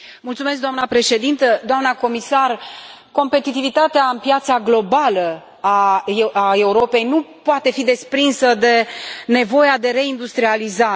Doamnă președintă, doamnă comisar, competitivitatea în piața globală a Europei nu poate fi desprinsă de nevoia de reindustrializare.